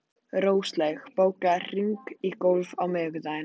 Róslaug, bókaðu hring í golf á miðvikudaginn.